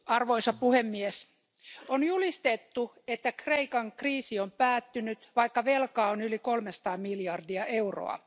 Arvoisa puhemies, on julistettu, että Kreikan kriisi on päättynyt, vaikka velkaa on yli kolmesataa miljardia euroa.